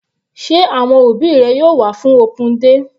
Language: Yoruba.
Sé àwọn òbí rẹ yóò wá fún open day?